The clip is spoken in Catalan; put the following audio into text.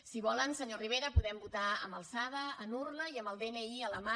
si volen senyor rivera podem votar a mà d’alçada amb urna i amb el dni a la mà